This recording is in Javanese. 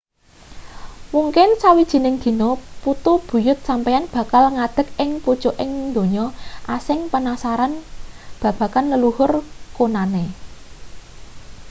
mungkin sawijining dina putu buyut sampeyan bakal ngadeg ing pucuking donya asing penasaran babagan leluhur kunane